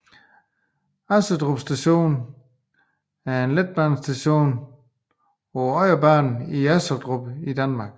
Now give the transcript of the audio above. Assedrup Station er en letbanestation på Odderbanen i Assedrup i Danmark